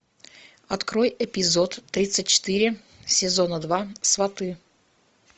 открой эпизод тридцать четыре сезона два сваты